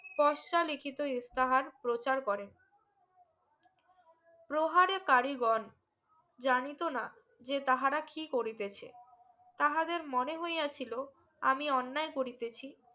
কসরা লিখিত স্তাহার প্রচার করেন প্রহারে তারিগন জানিত না যে তাহারা কি করিতেছে তাহদের মনে হইয়া ছিলো আমি অন্যায় করিতেছি